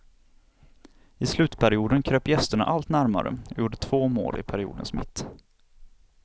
I slutperioden kröp gästerna allt närmare och gjorde två mål i periodens mitt.